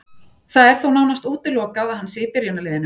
Það er þó nánast útilokað að hann sé í byrjunarliðinu.